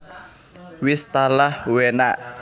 Wis talah uenaaakkk